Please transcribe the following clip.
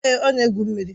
Èé, ọ na-egwu mmiri.